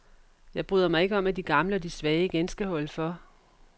Jeg bryder mig ikke om, at de gamle og de svage igen skal holde for.